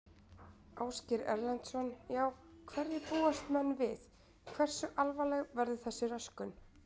Ásgeir Erlendsson: Já, hverju búast menn við, hversu alvarleg verður þessi röskun?